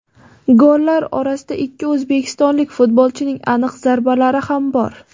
Gollar orasida ikki o‘zbekistonlik futbolchining aniq zarbalari ham bor.